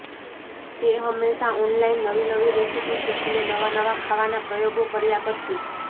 તે હંમેશા ઓનલાઇન નવી નવી રેસિપી શીખીને નવા નવા ખાવાના પ્રયોગો કર્યા કરતી